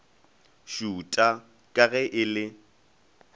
šuta ka ge e le